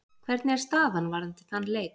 Hvernig er staðan varðandi þann leik?